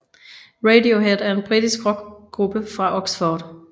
Radiohead er en britisk rockgruppe fra Oxford